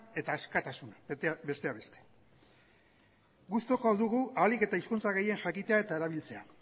eta askatasuna besteak beste gustukoa dugu ahalik eta hizkuntza gehien jakitea eta erabiltzea